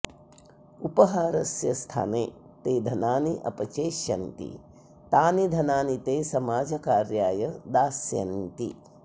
उपहारस्य स्थाने ते धनानि अपचेष्यन्ति तानि धनानि ते समाजकार्याय दास्यन्ति